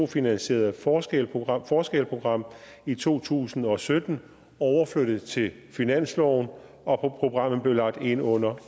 finansierede forskel program forskel program i to tusind og sytten overflyttet til finansloven og programmet blev lagt ind under